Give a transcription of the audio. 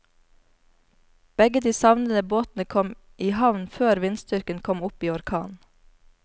Begge de savnede båtene kom i havn før vindstyrken kom opp i orkan.